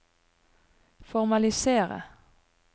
formalisere